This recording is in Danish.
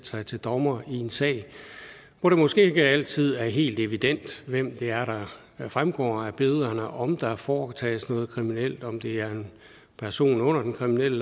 sig til dommer i en sag hvor det måske ikke altid er helt evident hvem det er der fremgår af billederne om der foretages noget kriminelt om det er en person under den kriminelle